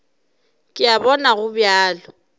ke a bona go bjalo